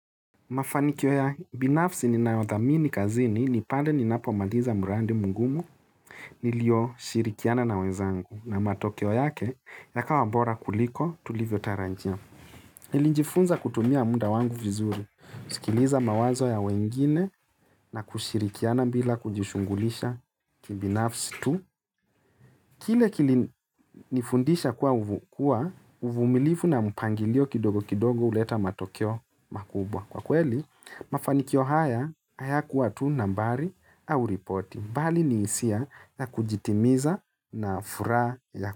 Mafanikio ya binafsi ni nayo dhamini kazini ni pale ni napo maliza muradi mugumu nilio shirikiana na wezangu na matokeo yake ya kawa bora kuliko tulivyo tarajia. Nilijifunza kutumia muda wangu vizuri, sikiliza mawazo ya wengine na kushirikiana bila kujishugulisha kibinafsi tu. Kile kili nifundisha kuwa uvumilifu na mpangilio kidogo kidogo huleta matokeo makubwa. Kwa kweli, mafanikio haya hayaku watu tu nambari au ripoti. Mbali ni hisia na kujitimiza na furaha ya.